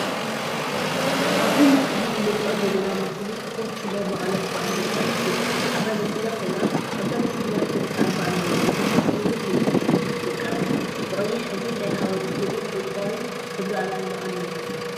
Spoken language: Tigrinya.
አብዚ ምስሊ እንሪኦ ዘለና ምስሊ ስፖርት ክለብ መቀለ 70 እንደርታ እትብል ዓባይ መኪና ኮይና፣ አብዛ መኪና ሰለስተ አርማ አለውዋ፡፡ ንሳቶም እውን ልምዓት ዓዲ ብደቂ ዓዲ ፣ ብቀይሕ ሕብሪ ናይ ሓወልቲ ስእሊን ዕንቋይ ሕብሪ አርማ አለውዋ፡፡